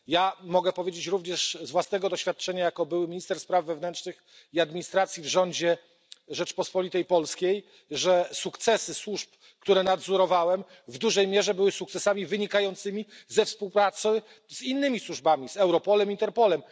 Ja mogę powiedzieć również z własnego doświadczenia, jako były minister spraw wewnętrznych i administracji w rządzie Rzeczpospolitej Polskiej, że sukcesy służb, które nadzorowałem, w dużej mierze były sukcesami wynikającymi ze współpracy z innymi służbami, z Europolem, z Interpolem.